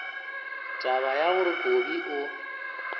taba ya gore kobi o